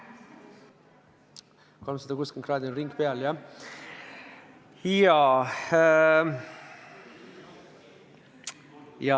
360 kraadi on ring peal.